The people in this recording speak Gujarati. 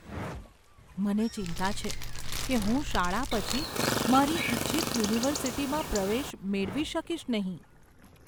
મને ચિંતા છે કે હું શાળા પછી મારી ઇચ્છિત યુનિવર્સિટીમાં પ્રવેશ મેળવી શકીશ નહીં.